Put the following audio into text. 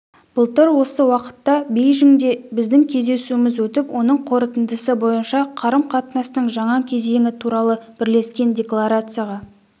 былтыр осы уақытта бейжіңде біздің кездесуіміз өтіп оның қорытындысы бойынша қарым-қатынастың жаңа кезеңі туралы бірлескен декларацияға